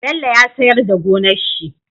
Bello ya siyar da gonar shi